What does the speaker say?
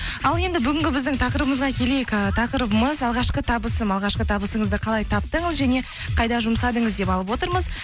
ал енді бүгінгі біздің тақырыбымызға келейік ііі тақырыбымыз алғашқы табысым алғашқы табысыңызды қалай таптыңыз және қайда жұмсадыңыз деп алып отырмыз